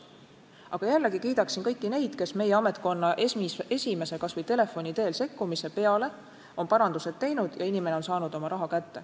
Samas ma kiidaksin kõiki neid, kes meie ametkonna esimese, kas või telefoni teel sekkumise peale on parandused teinud ja inimene on oma raha kätte saanud.